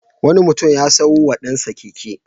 Wani mutum ya sayo wa ɗansa keke.